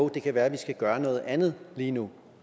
det kan være at vi skal gøre noget andet lige nu